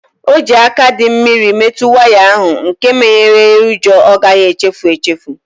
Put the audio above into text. O ji aka dị mmiri metụ waya ahu nke menyere ya ụjọ ọ gaghị echefu echefu